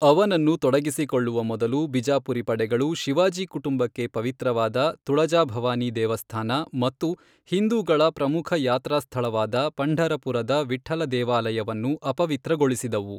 ಅವನನ್ನು ತೊಡಗಿಸಿಕೊಳ್ಳುವ ಮೊದಲು, ಬಿಜಾಪುರಿ ಪಡೆಗಳು ಶಿವಾಜಿ ಕುಟುಂಬಕ್ಕೆ ಪವಿತ್ರವಾದ ತುಳಜಾ ಭವಾನಿ ದೇವಸ್ಥಾನ ಮತ್ತು ಹಿಂದೂಗಳ ಪ್ರಮುಖ ಯಾತ್ರಾಸ್ಥಳವಾದ ಪಂಢರಪುರದ ವಿಠ್ಠಲ ದೇವಾಲಯವನ್ನು ಅಪವಿತ್ರಗೊಳಿಸಿದವು.